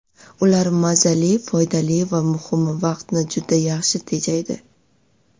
Ular mazali, foydali va muhimi vaqtni juda yaxshi tejaydi.